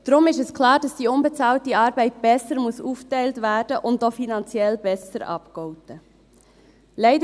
Deshalb ist es klar, dass die unbezahlte Arbeit besser aufgeteilt und auch finanziell besser abgegolten werden muss.